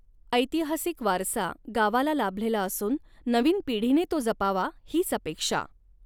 ऎतिहासिक वारसा गावाला लाभलेला असून नवीन पिढीने तो जपावा हिच अपेक्षा.